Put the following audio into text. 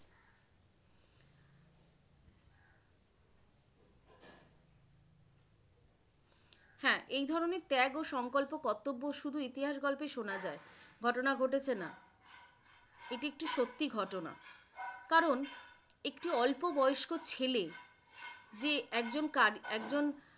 হ্যাঁ, এই ধরনের ত্যাগ ও সংকল্প কর্তব্য শুধু ইতিহাস গল্পে শুনা যায়। ঘটনা ঘটেছে নাহ, এটি একটি সত্যি ঘটনা । কারন একটি অল্প বয়স্ক ছেলে যে একজন একজন